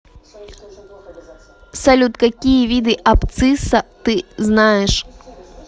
салют какие виды абцисса ты знаешь